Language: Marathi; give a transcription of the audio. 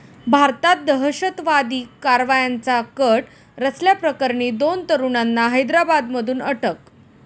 भारतात दहशतवादी कारवायांचा कट रचल्याप्रकरणी दोन तरुणांना हैदराबादमधून अटक